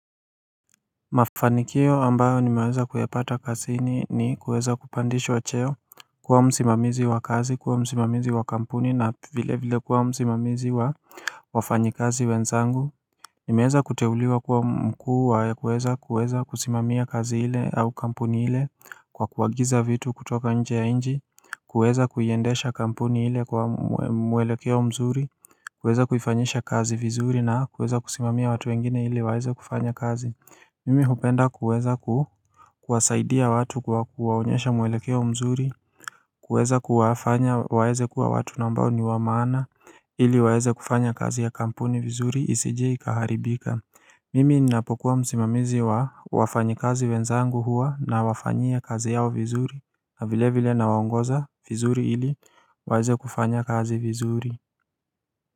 Mafanikio ambayo nimeweza kuyapata kazini ni kuweza kupandishwa cheo kuwa msimamizi wa kazi kuwa msimamizi wa kampuni na vile vile kuwa msimamizi wa wafanyikazi wenzangu Nimeweza kuteuliwa kuwa mkuu wa kuweza kuweza kusimamia kazi hile au kampuni ile Kwa kuagiza vitu kutoka nje ya nchi kuweza kuiendesha kampuni ile kwa mwelekeo mzuri kuweza kuifanyisha kazi vizuri na kuweza kusimamia watu wengine ili waweze kufanya kazi Mimi hupenda kuweza kuwasaidia watu kwa kuwaonyesha mwelekea mzuri kuweza kuwafanya waweze kuwa watu nambao ni wa maana ili waweze kufanya kazi ya kampuni vizuri isije ikaharibika Mimi ninapokuwa msimamizi wa wafanyi kazi wenzangu huwa na wafanyia kazi yao vizuri na vilevile na waongoza vizuri ili waweze kufanya kazi vizuri.